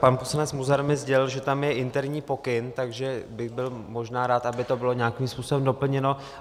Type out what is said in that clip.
Pan poslanec Munzar mi sdělil, že tam je interní pokyn, takže bych byl možná rád, aby to bylo nějakým způsobem doplněno.